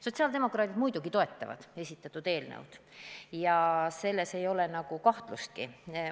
Sotsiaaldemokraadid muidugi toetavad esitatud eelnõu, selles ei ole kahtlustki.